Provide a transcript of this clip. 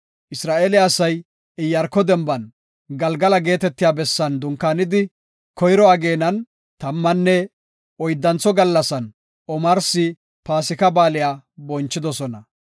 Isra7eele asay Iyaarko denban Galgala geetetiya bessan dunkaanidi, koyro ageenan tammanne oyddantho gallasan omarsi Paasika Baaliya bonchidosona.